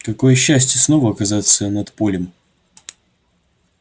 какое счастье снова оказаться над полем